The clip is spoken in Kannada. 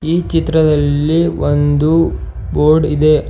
ಈ ಚಿತ್ರದಲ್ಲಿ ಒಂದು ಬೋರ್ಡ್ ಇದೆ.